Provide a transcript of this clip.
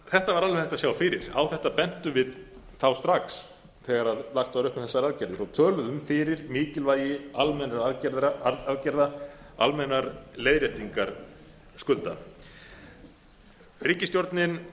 hægt að sjá fyrir á þetta bentum við þá strax þegar lagt var upp með þessar aðgerðir og töluðum fyrir mikilvægi almennra aðgerða almennrar leiðréttingar skulda ríkisstjórnin kom